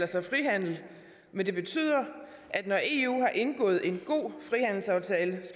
sig frihandel men det betyder at når eu har indgået en god frihandelsaftale